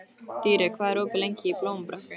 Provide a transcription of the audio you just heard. Dýri, hvað er opið lengi í Blómabrekku?